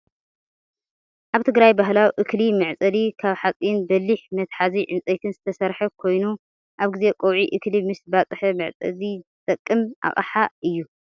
ኣብ ትግራይ ባህላዊ እክሊ መዕፀዲ ካብ ሓፂን በሊሕ መትሓዝኡ ዕንፀይትን ዝተሰረሐ ኮይኑ፣ ኣብ ግዜ ቀውዒ እክሊ ምስ ባፀሓ መዕፀዲ ዝተቅም ኣቅሓ እዩ።